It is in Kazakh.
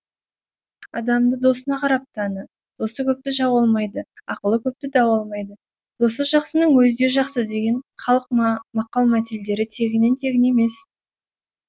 адамды досына қарап таны досы көпті жау алмайды ақылы көпті дау алмайды досы жақсының өзі де жақсы деген халық мақал мәтелдері тегіннен тегін емес